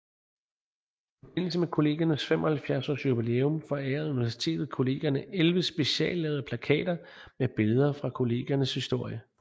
I forbindelse med Kollegiernes 75 års jubilæum forærede Universitetet Kollegierne 11 speciallavede plakater med billeder fra Kollegiernes historie